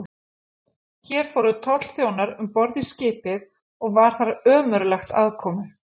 Hér fóru tollþjónar um borð í skipið, og var þar ömurlegt aðkomu.